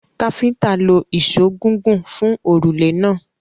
Káfíńńtà lo ìṣó gígùn fun òrùlé náà.